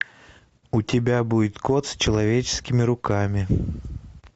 у тебя будет кот с человеческими руками